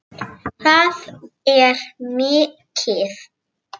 Það er mikið!